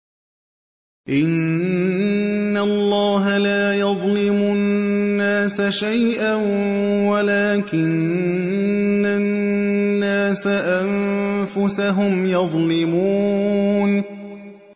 إِنَّ اللَّهَ لَا يَظْلِمُ النَّاسَ شَيْئًا وَلَٰكِنَّ النَّاسَ أَنفُسَهُمْ يَظْلِمُونَ